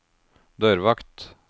dørvakt